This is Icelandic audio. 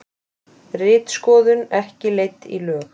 Ritskoðun ekki leidd í lög